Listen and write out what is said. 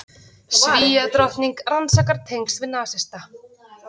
Svíadrottning rannsakar tengsl við nasista